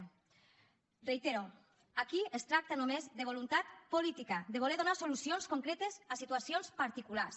ho reitero aquí es tracta només de voluntat política de voler donar solucions concretes a situacions particulars